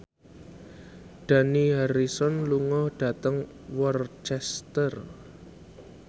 Dani Harrison lunga dhateng Worcester